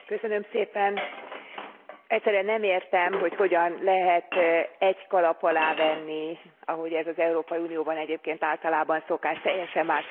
Egyszerűen nem értem, hogy hogyan lehet egy kalap alá venni, ahogy ez az Európai Unióban egyébként általában szokás, teljesen más helyzetben lévő országokat.